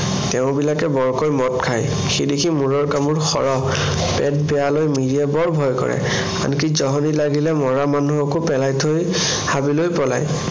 তেওঁবিলাকে বৰকৈ মদ খায়, সেইদেখি মূৰৰ কামোৰ সৰহ। পেট বেয়া লৈ মিৰিয়ে ভয় কৰে। আনিক জহনী লাগিলে মৰা মানুহকো পেলাই থৈ হাবি লৈ পলায়।